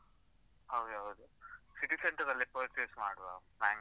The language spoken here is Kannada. ಹೌದೌದು, city centre ಅಲ್ಲಿ purchase ಮಾಡುವ, Bangalore.